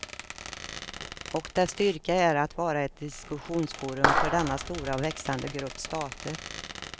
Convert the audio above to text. Och dess styrka är att vara ett diskussionsforum för denna stora och växande grupp stater.